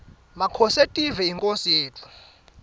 makhosetive yinkhosi yetfu